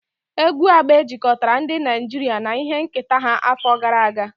Egwu Agbe jikọtara ndị Naijiria na ihe nketa ha afọ gara aga.